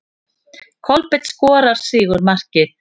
Kolbeinn skorar sigurmarkið.